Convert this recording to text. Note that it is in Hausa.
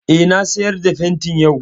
Eh, na sayar da fenti yau